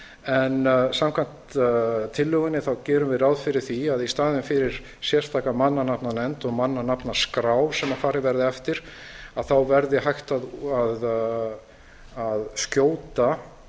en samkvæmt tillögunni gerum við ráð fyrir því að í staðinn fyrir sérstaka mannanafnanefnd og mannanafnaskrá sem farið verði eftir þá verði hægt að skjóta